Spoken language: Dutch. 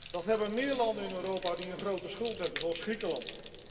Dat hebben meer landen in Europa die een grote schuld hebben, zoals Griekenland.